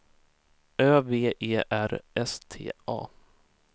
Ö V E R S T A